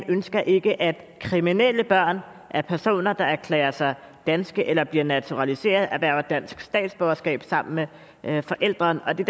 ønsker ikke at kriminelle børn af personer der erklærer sig danske eller bliver naturaliserede erhverver dansk statsborgerskab sammen med forælderen det